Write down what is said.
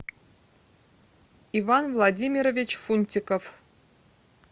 иван владимирович фунтиков